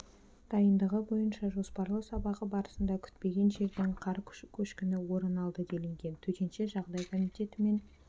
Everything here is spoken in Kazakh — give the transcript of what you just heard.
дайындығы бойынша жоспарлы сабағы барысында күтпеген жерден қар көшкіні орын алды делінген төтенше жағдай комитетімен